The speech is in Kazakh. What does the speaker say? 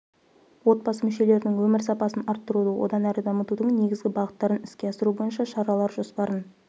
отбасы мүшелерінің өмір сапасын арттыруды одан әрі дамытудың негізгі бағыттарын іске асыру бойынша шаралар жоспарын